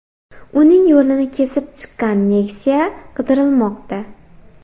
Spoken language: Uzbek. Uning yo‘lini kesib chiqqan Nexia qidirilmoqda.